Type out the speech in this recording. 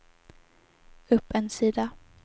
upp en sida